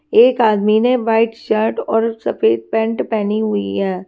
एक आदमी ने व्हाइट शर्ट और सफेद पैंट पहनी हुई है।